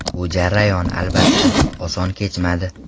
Bu jarayon albatta, oson kechmadi.